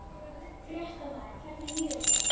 Fréttamaður: Hvernig líður þessu fólki?